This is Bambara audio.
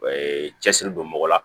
cɛsiri don mɔgɔ la